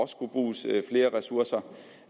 skulle bruges flere ressourcer